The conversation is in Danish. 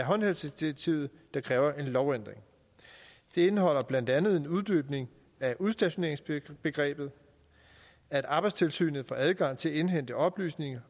håndhævelsesdirektivet der kræver en lovændring det indeholder blandt andet en uddybning af udstationeringsbegrebet at arbejdstilsynet får adgang til at indhente oplysninger